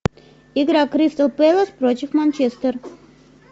игра кристал пэлас против манчестер